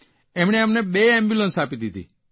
તેમણે અમને બે એમ્બ્યુલન્સ આપી દીધી